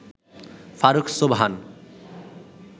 Faruk Sobhan